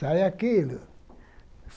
Sai aquilo.